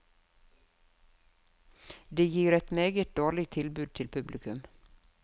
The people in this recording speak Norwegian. Det gir et meget dårlig tilbud til publikum.